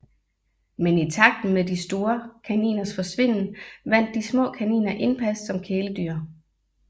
Men i takt med de store kaniners forsvinden vandt de små kaniner indpas som kæledyr